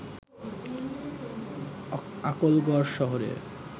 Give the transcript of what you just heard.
আকলগড় শহরের